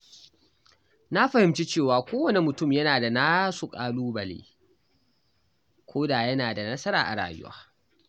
Na fahimci cewa kowane mutum yana da nasu ƙalubale, koda yana da nasara a rayuwa.